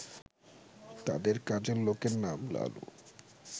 তাদের কাজের লোকের নাম লালু